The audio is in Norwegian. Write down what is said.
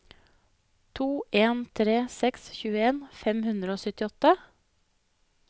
to en tre seks tjueen fem hundre og syttiåtte